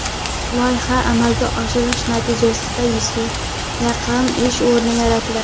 Loyihani amalga oshirish natijasida yuzga yaqin ish o‘rni yaratiladi.